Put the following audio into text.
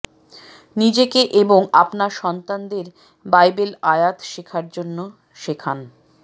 নিজেকে এবং আপনার সন্তানদের বাইবেল আয়াত শেখার জন্য শেখান